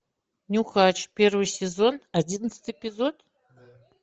нюхач первый сезон одиннадцатый эпизод